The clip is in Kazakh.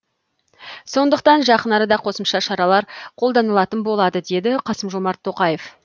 сондықтан жақын арада қосымша шаралар қолданылатын болады деді қасым жомарт тоқаев